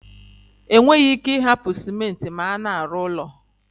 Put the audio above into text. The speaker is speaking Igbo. E nweghi ike I hapu Simenti ma a na-aru ulo